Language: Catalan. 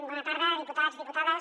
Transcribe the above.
bona tarda diputats diputades